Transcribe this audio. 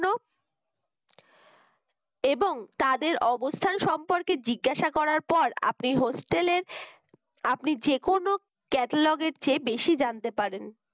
এবং তাদের অবস্থান সম্পর্কে জিজ্ঞাসা করার পর আপনি hostel র আপনি যে কোন catalogue র চেয়ে বেশি জানতে পারেন